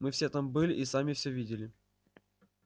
мы все там были и сами все видели